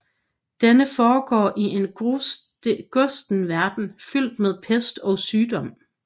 Denne foregår i en gusten verden fyldt med pest og sygdom